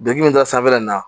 Dɔnkili bɛ taa sanfɛla na